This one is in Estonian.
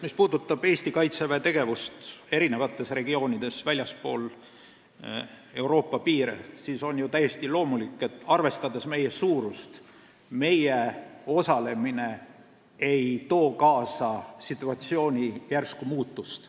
Mis puudutab Eesti Kaitseväe tegevust eri regioonides väljaspool Euroopa piire, siis meie suurust arvestades on ju täiesti loomulik, et meie osalemine ei too kaasa situatsiooni järsku muutust.